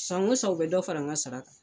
Sango san u bɛ dɔ fara n ka sara kan.